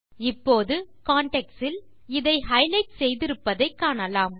இப்போது contextஇல் இதை ஹைலைட் செய்திருப்பதை காணலாம்